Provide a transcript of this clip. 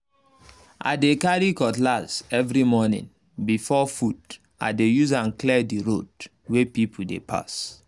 i dey carry cutlass every morning before food—i dey use am clear the road um wey people dey pass